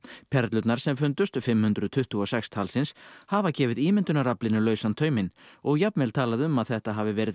perlurnar sem fundust fimm hundruð tuttugu og sex talsins hafa gefið ímyndunaraflinu lausan tauminn og jafnvel talað um að þetta hafi verið